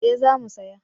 Eh za mu saya